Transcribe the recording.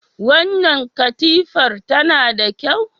Wannan katifar tana da kyau?